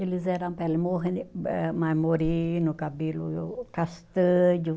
Eles eram pele eh mais moreno, cabelo castanho.